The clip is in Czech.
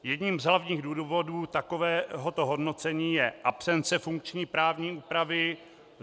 Jedním z hlavních důvodů takovéhoto hodnocení je absence funkční právní úpravy.